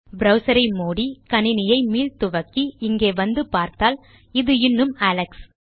browser ஐ மூடி கணினியை மீள் துவக்கி இங்கே வந்து பார்த்தால் இது இன்னும் அலெக்ஸ்